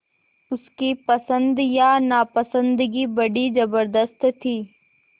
उसकी पसंद या नापसंदगी बड़ी ज़बरदस्त थी